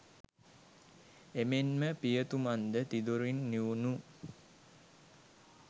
එමෙන්ම පියතුමන් ද තිදොරින් නිවුණු